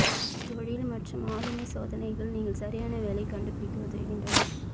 தொழில் மற்றும் ஆளுமை சோதனைகள் நீங்கள் சரியான வேலை கண்டுபிடிக்க உதவுகின்றன